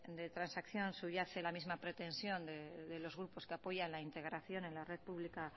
de transacción subyace la misma pretensión de los grupos que apoyan la integración en la red pública